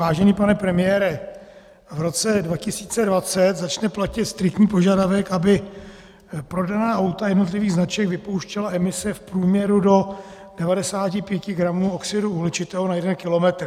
Vážený pane premiére, v roce 2020 začne platit striktní požadavek, aby prodaná auta jednotlivých značek vypouštěla emise v průměru do 95 gramů oxidu uhličitého na jeden kilometr.